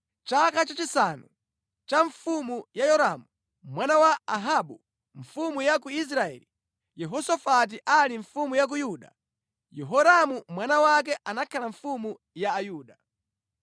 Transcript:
Chaka chachisanu cha ufumu wa Yoramu mwana wa Ahabu mfumu ya ku Israeli, Yehosafati ali mfumu ya ku Yuda, Yehoramu mwana wake anakhala mfumu ya Ayuda.